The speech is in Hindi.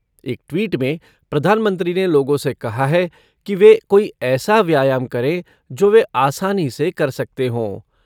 एक ट्वीट में प्रधानमंत्री ने लोगों से कहा है कि वे कोई ऐसा व्यायाम करें जो वे आसानी से कर सकते हों।